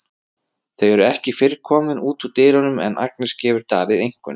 Þau eru ekki fyrr komin út úr dyrunum en Agnes gefur Davíð einkunn.